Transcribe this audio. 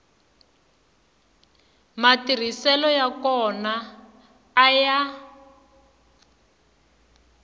matirhiselo ya kona a ya